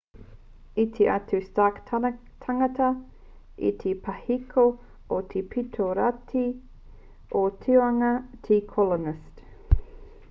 i tū atu ā stark tāngata ki te pahiko o te pito raki o te tūnga o te colonist